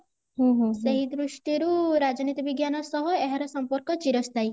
ସେହି ଦ୍ରୁଷ୍ଟି ରୁ ରାଜନୀତି ବିଜ୍ଞାନ ସହ ଏହାର ସମ୍ପର୍କ ଚିରସ୍ଥାୟୀ